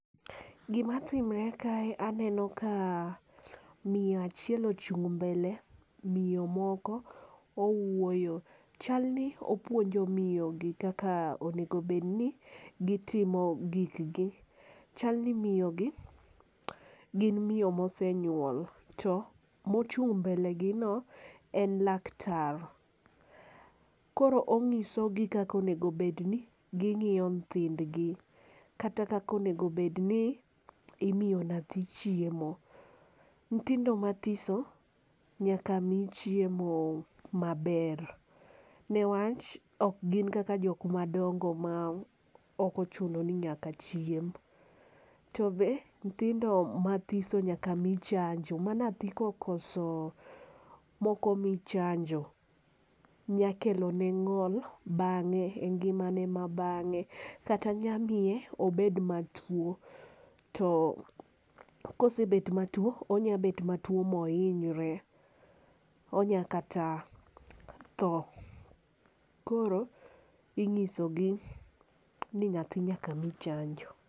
Gi ma timre ka e anenio ka miyo achiel ochung mbele miyo moko owuoyo chal ni opuonjo miyo gi kaka onego be ni gi timo gik gi. Chal ni miyo gi gin miyi mosenyuol to mo chung mbele gi en laktar. Koro ong'iso gi kaka onego bed ni gi ng'iyo nyithind gi kata kaka onego bed ni imiyo nyathi chiemo. Nyithindo ma thiso nyaka mi chieo ma ber ne wach ok gin kaka jok madongo ma ok ochuno ni nyaka chiem. To be nyithindo ma thiso nyaka mi chanjo ma nyathi ka okoso ma ok omi chanjo nya kelo ne ng'ol bange e ngima ne ma bang'e kata nya miye obed ma tuo to ka osebet ma tuo onya bet ma tuo ma oinyre onya kata thoo. Koro ing'iso gi ni nyathi nyaka mi chanjo.